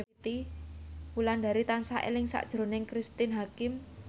Wulandari tansah eling sakjroning Cristine Hakim